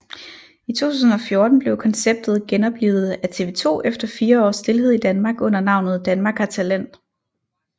I 2014 blev konceptet genoplivet af TV2 efter fire års stilhed i Danmark under navnet Danmark har talent